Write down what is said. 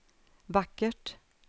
vackert